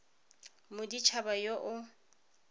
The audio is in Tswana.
ya modit haba yo o